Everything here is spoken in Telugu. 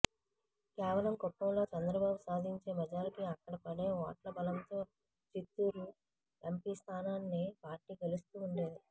కేవలం కుప్పంలో చంద్రబాబు సాధించే మెజారిటీ అక్కడ పడే ఓట్ల బలంతో చిత్తూరు ఎంపీస్థానాన్ని పార్టీ గెలుస్తూ ఉండేది